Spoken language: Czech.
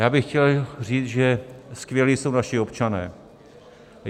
Já bych chtěl říct, že skvělí jsou naši občané.